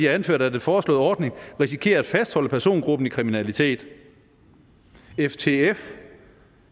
anført at den foreslåede ordning risikerer at fastholde persongruppen i kriminalitet ftf